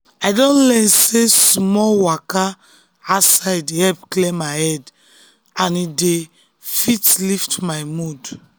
um i don learn sey small um waka outside dey help clear my head and e dey um lift my mood.